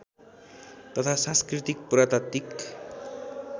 तथा सांस्कृतिक पुरातात्विक